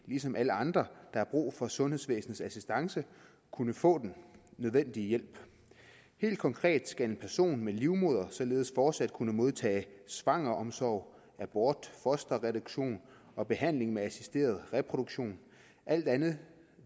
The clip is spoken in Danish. ligesom alle andre der har brug for sundhedsvæsenets assistance kunne få den nødvendige hjælp helt konkret skal en person med en livmoder således fortsat kunne modtage svangreomsorg abort fosterreduktion og behandling med assisteret reproduktion alt andet